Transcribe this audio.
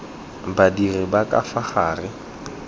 badiri ba ka fa gare